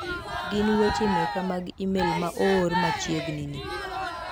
Gin weche meka mag imel ma oor machiegni ni.